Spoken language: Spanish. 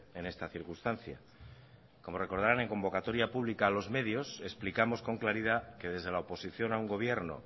en esta circunstancia como recordarán en convocatoria pública a los medios explicamos con claridad que desde la oposición a un gobierno